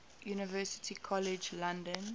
university college london